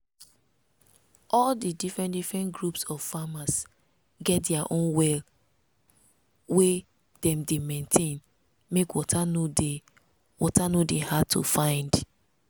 all the different different groups of farmers get dia own well wey dem dey maintain make water no dey water no dey hard to find.